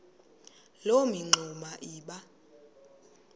loo mingxuma iba